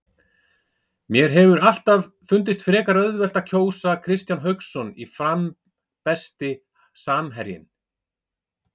Mér hefur alltaf fundist frekar auðvelt að sóla Kristján Hauksson í Fram Besti samherjinn?